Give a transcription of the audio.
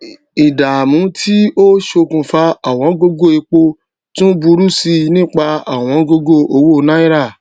ìdààmú tí ó ṣókùnfà ọwọn gógó epo tún burú sí nípa ọwọn gógó owó náírà